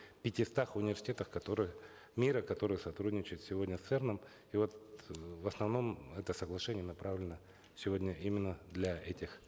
пятистах университетах которые мира которые сотрудничают сегодня с церн ом и вот э в основном это соглашение направлено сегодня именно для этих